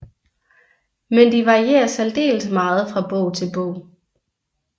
Men de varierer særdeles meget fra bog til bog